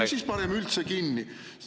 … ja siis panete üldse kinni.